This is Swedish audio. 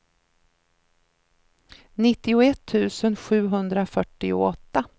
nittioett tusen sjuhundrafyrtioåtta